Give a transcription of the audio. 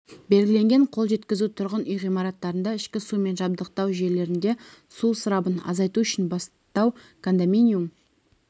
белгіленген қол жеткізу тұрғын үй ғимараттарында ішкі сумен жабдықтау жүйелерінде су ысырабын азайту үшін бастау кондоминиум